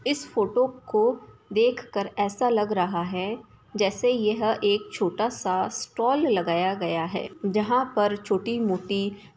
इस फोटो को देखकर ऐसा लग रहा है जैसे कि यह एक छोटा सा स्टॉल लगाया गया है जहां पर छोटी-मोटी--